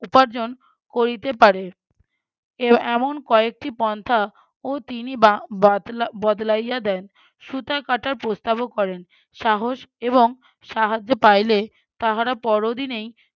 উপার্জন করিতে পারে। এ~ এমন কয়েকটি পন্থা ও তিনি বা~ ~বাতলা~ বতলাইয়া দেন। সুতা কাটার প্রস্তাবও করেন। সাহস এবং সাহায্য পাইলে তাহারা পরওদিনেই